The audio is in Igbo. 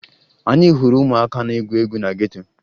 Anyị hụrụ ụmụaka na-egwu egwu na geto